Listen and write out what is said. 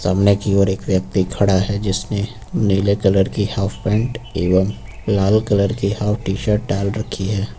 सामने की ओर एक व्यक्ति खड़ा है जिसने नीले कलर की हाफ पैंट एवं लाल कलर की हाफ टी-शर्ट डाल रखी है।